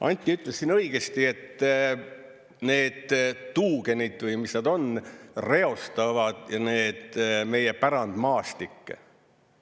Anti ütles siin õigesti, et need tuugenid, või mis nad on, reostavad meie pärandmaastikke.